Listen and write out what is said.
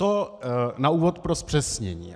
To na úvod pro zpřesnění.